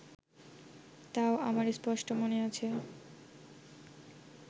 তাও আমার স্পষ্ট মনে আছে